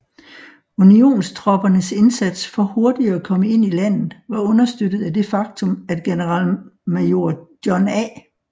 Unionstroppernes indsats for hurtigt at komme ind i landet var understøttet af det faktum at generalmajor John A